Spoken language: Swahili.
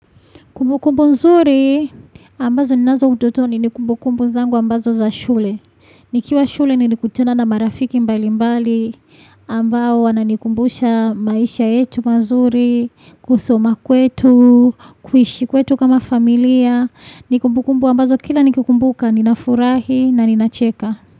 Kumbu kumbu nzuri, ambazo ninazo utotoni ni kumbu kumbu zangu ambazo za shule. Nikiwa shule nini kutana na marafiki mbali mbali, ambao wananikumbusha maisha yetu mazuri, kusoma kwetu, kuishi kwetu kama familia. Nikumbu kumbu ambazo kila nikumbuka, ninafurahi na ninacheka.